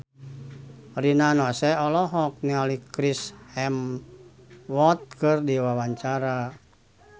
Rina Nose olohok ningali Chris Hemsworth keur diwawancara